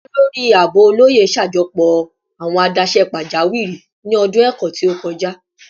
Olori Aabo Oloye ṣajọpọ awọn adaṣe pajawiri ni ọdun ẹkọ ti o kọja